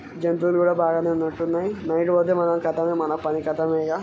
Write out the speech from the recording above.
జంతువులు కూడా బాగానే ఉన్నట్టు ఉన్నాయ్ నైట్ పోతే మనము కతమే మన పని కతమే యిగ.